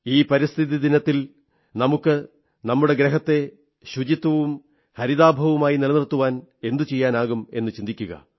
ഈ പരിസ്ഥിതി ദിനത്തിൽ നമുക്ക് നമ്മുടെ ഗ്രഹത്തെ സ്വച്ഛവും ഹരിതാഭവുമായി നിലനിർത്താൻ എന്തു ചെയ്യാനാകും എന്നു ചിന്തിക്കുക